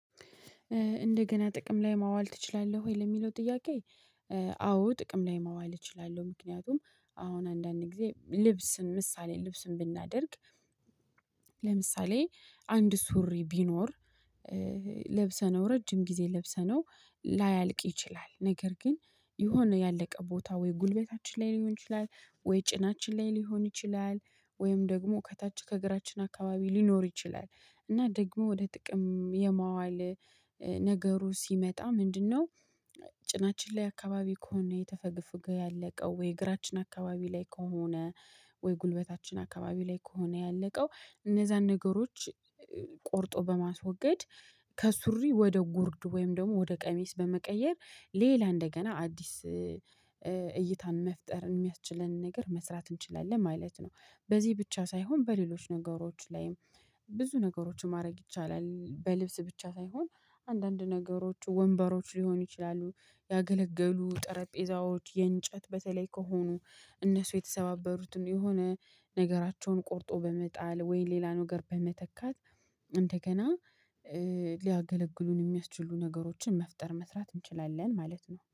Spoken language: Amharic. እንደገና ጥቅም ላይ ማዋል ትችላለህ ወይ ለሚለው ጥያቄ? አዎ ጥቅም ላይ ማዋል እችላለሁ። ምክንያቱም አሁን አንዳንድ ጊዜ ልብስን ምሳሌ ልብስን ብናደርግ። ለምሳሌ አንድ ሱሪ ቢኖር ለብሰነው ረጅም ጊዜ ለብሰነው ላያልቅ ይችላል። ነገር ግን የሆነ ያለቀ ቦታ ወይ ጉልበታችን ላይ ሊሆን ይችላል ወይ ጭናችን ላይ ሊሆን ይችላል ወይም ደግሞ ከታች ከእግራችን አካባቢ ሊኖር ይችላል እና ደግሞ ወደ ጥቅም የማዋል ነገሩ ሲመጣ ምንድነው? ጭናችን ላይ አካባቢ ከሆነ የተፈገፈገ ያለቀው ወይ እግራችን አካባቢ ላይ ከሆነ ወይ ጉልበታችን አካባቢ ላይ ከሆነ ያለቀው እነዛን ነገሮች ቆርጦ በማስወገድ ከሱሪ ወደ ጉርድ ወይም ደግሞ ወደ ቀሚስ በመቀየር ሌላ እንደገና አዲስ እይታን መፍጠር የሚያስችለንን ነገር መስራት እንችላለን። ማለት ነው በዚህ ብቻ ሳይሆን በሌሎች ነገሮች ላይም ብዙ ነገሮችን ማድረግ ይቻላል። በልብስ ብቻ ሳይሆን አንዳንድ ነገሮች ወንበሮች ሊሆኑ ይችላሉ። ያገለገሉ ጠረጴዛዎች የእንጨት በተለይ ከሆኑ እነሱ የተሰባበሩትን የሆነ ነገራቸውን ቆርጦ በመጣል ወይ ሌላ ነገር በመተካት እንደገና ሊያገለግሉን የሚያስችሉ ነገሮችን መፍጠር መስራት እንችላለን። ማለት ነው